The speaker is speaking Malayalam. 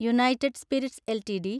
United Spirits LTD